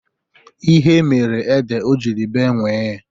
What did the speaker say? Ihe mere ede o jiri bee nwii.